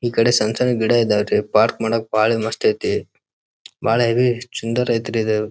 ಈ ಕಡೆ ಸಣ್ಣ ಸಣ್ಣ ಗಿಡ ಇದ್ದವೇ ರೀ ಪಾರ್ಕ್ ಮಾಡಕ್ ಬಹಳ ಮಸ್ತ್ ಐತ್ರಿ ಬಹಳ ಹೆವಿ ಐತ್ರಿ ಅದ.